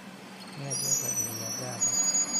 nĩajokagĩria ngatho